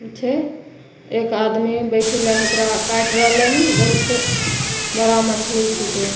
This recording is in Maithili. पीछे एक आदमी बइठि लाय के ओकरा काएट रहले हन बहुते बड़ा मछली छीके ।